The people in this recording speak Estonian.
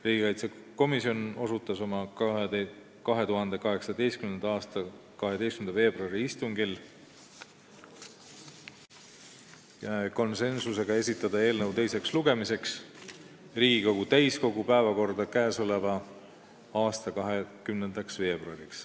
Riigikaitsekomisjon otsustas oma 2018. aasta 12. veebruari istungil konsensuslikult, et eelnõu esitatakse teiseks lugemiseks Riigikogu täiskogu päevakorda 20. veebruariks.